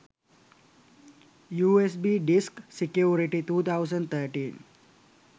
usb disk security 2013